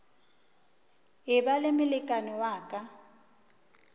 eba le molekane wa ka